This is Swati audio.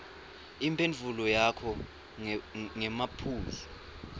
imphendvulo yakho ngemaphuzu